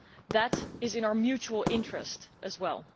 That is in our mutual interest as well.